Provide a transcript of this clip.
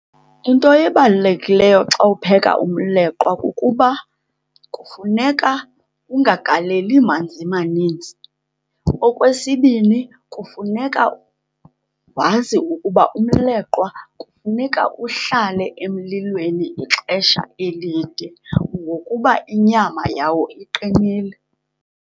Into ebalulekileyo xa upheka umleqwa kukuba kufuneka ungagaleli manzi maninzi. Okwesibini, kufuneka wazi ukuba umleqwa kufuneka uhlale emlilweni ixesha elide ngokuba inyama yawo iqinileyo.